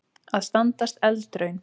Að standast eldraun